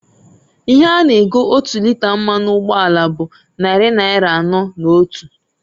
Ihe a na- ego otu lịta mmanụ ugboala bụ nnarị naịra anọọ na otu.